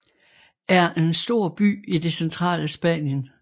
er en stor by i det centrale Spanien